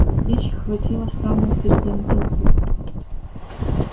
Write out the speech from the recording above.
картечь хватила в самую середину толпы